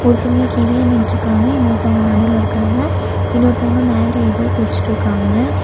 ஒருத்தவங்க கீழயே நின்ட்ருக்காங்க இன்னொருத்தவங்க நடுவுல இருக்காங்க இன்னொருத்தவங்க மேல எதோ புடிச்சிட்ருக்காங்க.